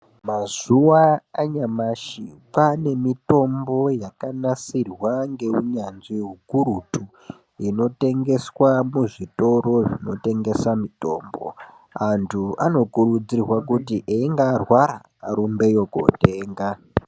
Mazuwa anyamashi kwaane mitombo yakanasirwa ngeunyanzvi hukurutu inotengeswa muzvitoro zvinotengesa mitombo, anthu anokurudzirwa kuti einge arwara arumbeyo kootenga.